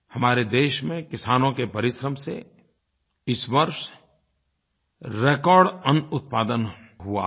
हमारे देश में किसानों के परिश्रम से इस वर्ष रेकॉर्ड अन्न उत्पादन हुआ है